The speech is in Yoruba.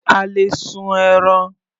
A lè sun ẹran.